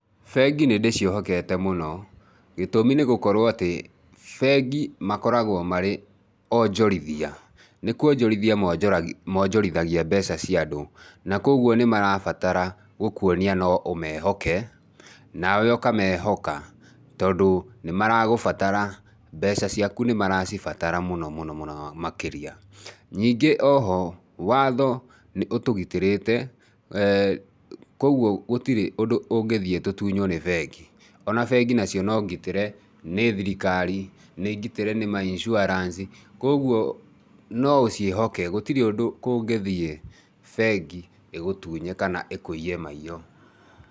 Bengi nĩ ndĩciĩhokete mũno. Gĩtũmi nĩ gũkorũo atĩ bengi makoragũo marĩ onjorithia. Nĩ kũonjorithia monjorithagia mbeca cia andũ, na kũoguo nĩ marabatara gũkuonia no ũmeehoke, nawe ũkameehoka, tondũ nĩ marakũbatara, mbeca ciaku nĩ maracibatara mũno mũno makĩria. Ningĩ o ho, watho nĩ ũtũgitĩrĩte, kũoguo gũtirĩ ũndũ ũngĩthiĩ tũtunyuo nĩ bengi.O na bengi nacio nĩ ngitĩre nĩ thirikari, nĩ ngitĩre nĩ ma insurance, kũoguo no ũciĩhoke gũtirĩ ũndũ kũngĩthiĩ bengi ĩgũtunye kana ĩkũiye maiyo.